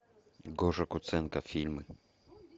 гоша куценко фильмы